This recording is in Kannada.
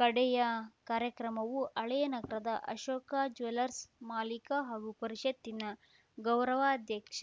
ಕಡೆಯ ಕಾರ್ಯಕ್ರಮವು ಹಳೇನಗರದ ಅಶೋಕ ಜ್ಯೂಯಲರ್ಸ್ ಮಾಲೀಕ ಹಾಗು ಪರಿಷತ್ತಿನ ಗೌರವಾಧ್ಯಕ್ಷ